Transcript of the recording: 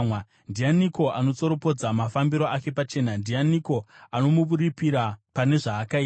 Ndianiko anotsoropodza mafambiro ake pachena? Ndianiko anomuripira pane zvaakaita?